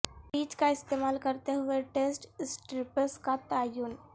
پییچ کا استعمال کرتے ہوئے ٹیسٹ سٹرپس کا تعین